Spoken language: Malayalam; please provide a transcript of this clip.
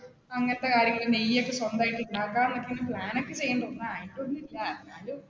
അങ്ങനത്തെ കാര്യങ്ങള് നെയ്യൊക്കെ സ്വന്തമായിട്ട് ഉണ്ടാക്കാം എന്ന plan ഒക്കെ ചെയ്തിട്ടുണ്ട് ഒന്നും ആയിട്ടൊന്നും ഇല്ല എന്നാലും.